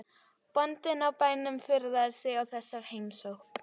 Bóndinn á bænum furðaði sig á þessari heimsókn.